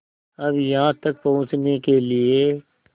अब यहाँ तक पहुँचने के लिए